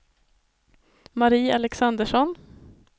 Marie Alexandersson